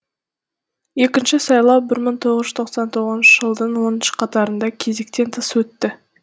екінші сайлау бір мың тоғыз жүз тоқсан тоғызыншы жылдың оныншы қаңтарында кезектен тыс өтті